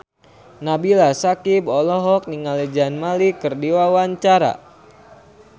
Nabila Syakieb olohok ningali Zayn Malik keur diwawancara